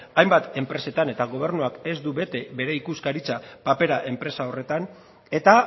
hainbat enpresetan eta gobernuak ez du bete bere ikuskaritza papera enpresa horretan eta